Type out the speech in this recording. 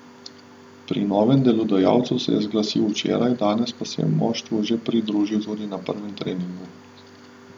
Pri novem delodajalcu se je zglasil včeraj, danes pa se je moštvu že pridružil tudi na prvem treningu.